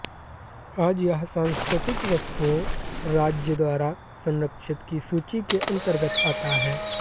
आज यह सांस्कृतिक वस्तुओं राज्य द्वारा संरक्षित की सूची के अंतर्गत आता है